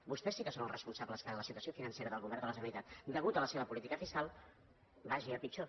vostès sí que són els responsables que la situació financera del govern de la generalitat a causa de la seva política fiscal vagi a pitjor